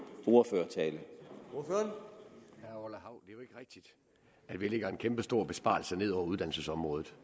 til herre orla hav at vi lægger en kæmpestor besparelse ned over uddannelsesområdet